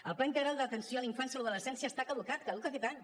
el pla integral d’atenció a la infància i adolescència està caducat caduca aquest any